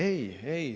Ei, ei.